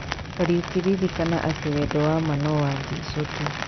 Kariũki ririkana atĩ wendo wa maa no wa Jeso tu .